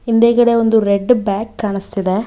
ಹಿಂದೆಗಡೆ ಒಂದು red bag ಕಾಣಿಸ್ತಿದೆ.